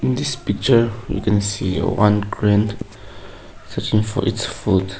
in this picture we can see a one crane searching for it's food.